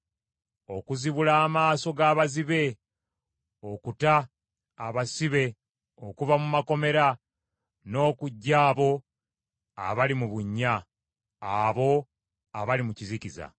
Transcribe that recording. Okuzibula amaaso g’abazibe, okuta abasibe okuva mu makomera n’okuggya abo abali mu bunnya, abo abali mu kizikiza.